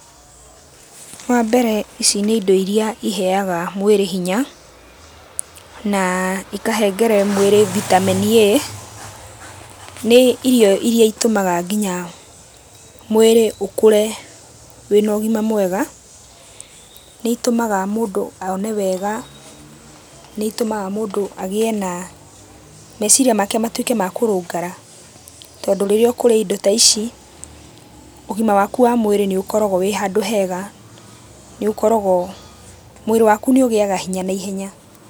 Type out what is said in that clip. Wambere ici ni indo irĩa iheaga mwĩrĩ hinya na ikahengere mwĩrĩ Vitamin A nĩ irio irĩa itũmaga mwĩrĩ ũkũre wĩna ũgima mwega. Nĩ itũmaga mũndũ one wega, nĩ itũmaga mũndũ agĩe na meciria make matuĩke ma kũrũngara tondũ rĩrĩa ũkũrĩa indo ta ici, ũgima waku wa mwĩrĩ nĩ ũkoragwo wĩ handũ hega, nĩukoragwo, mwĩrĩ waku nĩ ũgĩaga hinya naihenya.